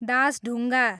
Dasdhunga